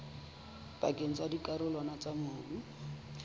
pakeng tsa dikarolwana tsa mobu